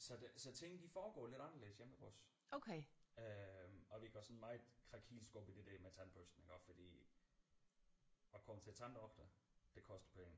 Så det så tingene de foregår lidt anderledes hjemme hos os øh og vi går sådan meget krakilsk op i det der med tandbørstninger fordi at komme til tanddoktor det koster penge